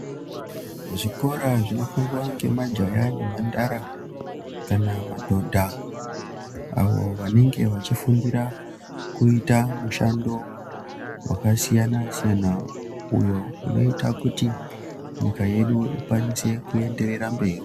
Zvikora zvinofundwa ngemajaya nemhandara kana madhodha avo vanenge vachifundira kuita mushando wakasiyana-siyana uyo inoita kuti nyika yedu ikwanise kuenderera mberi.